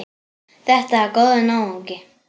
Þetta er góður náungi.